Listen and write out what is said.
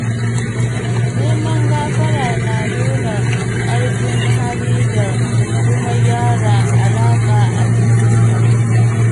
Neman gafara na nuna ƙarfin hali da kuma gyara alaƙa a cikin al'umma.